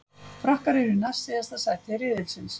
Frakkar eru í næst síðasta sæti riðilsins.